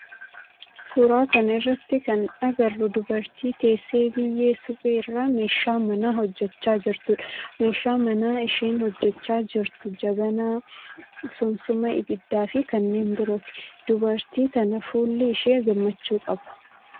Suuraa kana irratti kan agarru dubartii teessee biyyee suphee irraa meeshaa manaa hojjechaa jirtudha. Meeshaa manaa isheen hojjechaa jirtu jabanaa, sunsuma ibiddaa fi kanneen birooti. Dubartii tana fuulli ishee gammachuu qaba.